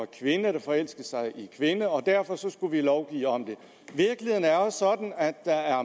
kvinder der forelskede sig i en kvinde og derfor skulle vi lovgive om det virkeligheden er jo sådan at der er